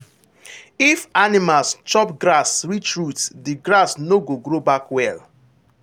if animals chop grass reach root the grass no go grow back well.